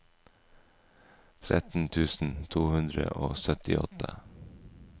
tretten tusen to hundre og syttiåtte